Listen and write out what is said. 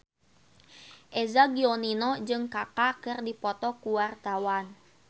Eza Gionino jeung Kaka keur dipoto ku wartawan